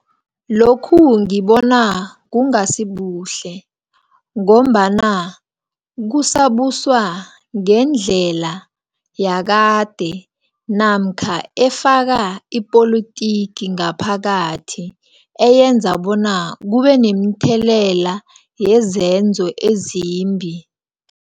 Lokhu ngibona kungasibuhle, ngombana kusabuswa ngendlela yakade, namkha efaka ipolotiki ngaphakathi, eyenza bona kubenemithelela yezenzo ezimbi.